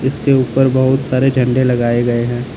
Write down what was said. उसके ऊपर बहुत सारे झंडे लगाए गए हैं।